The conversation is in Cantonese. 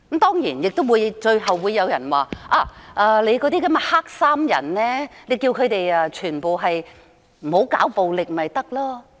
當然，最後亦會有人說："你叫那些黑衣人不要搞暴力便行了。